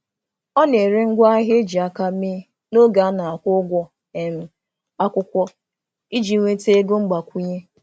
Ọ na-ere ngwaahịa e ji aka mee n'oge a na-akwụ ụgwọ um akwụkwọ iji nweta ego mgbakwunye.